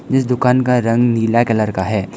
इस दुकान का रंग नीला कलर का है।